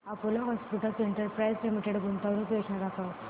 Apollo Hospitals Enterprise Limited गुंतवणूक योजना दाखव